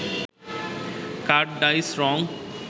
কাঠের ডাইস, রং